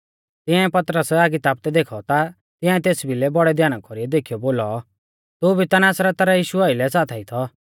तियांऐ पतरस आगी तापदै देखौ ता तियांऐ तेस भिलै बौड़ै ध्याना कौरीऐ देखीयौ बोलौ तू भी ता नासरता रै यीशु आइलै साथाई थौ